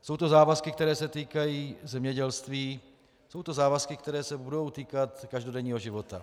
jsou to závazky, které se týkají zemědělství, jsou to závazky, které se budou týkat každodenního života.